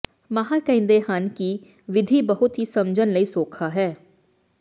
ਮਾਹਰ ਕਹਿੰਦੇ ਹਨ ਕਿ ਵਿਧੀ ਬਹੁਤ ਹੀ ਸਮਝਣ ਲਈ ਸੌਖਾ ਹੈ